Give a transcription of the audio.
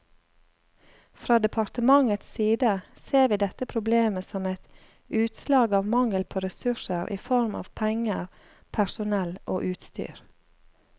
Fra departementets side ser vi dette problemet som et utslag av mangel på ressurser i form av penger, personell og utstyr.